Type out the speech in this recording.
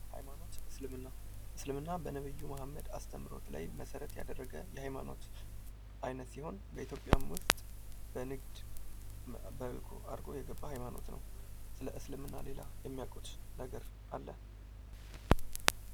ሃይማኖት እስልምና እስልምና በነቢዩ መሀመድ አስተምህሮት ላይ መሠረት ያደረገ የሃይማኖት አይነት ሲሆን በኢትዮጵያም ውስጥ በንግድ አድርጎ የገባ ሃይማኖት ነው። ስለ እስልምና ሌላ የሚያውቁት ነገር አለ?